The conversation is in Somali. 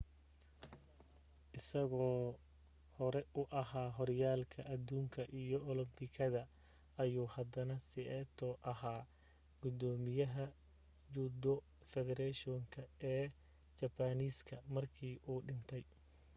isagoo hore u ahaa horyaalkii adduunka iyo olambikada ayuu haddana saito ahaa gudoomiyaha judo federation ka ee jabbaaniiska markii u dhintay